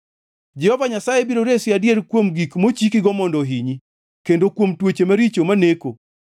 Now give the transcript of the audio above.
Jehova Nyasaye biro resi adier kuom gik mochikigo mondo ohinyi kendo kuom tuoche maricho maneko.